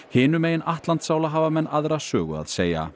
hinum megin Atlantsála hafa menn aðra sögu að segja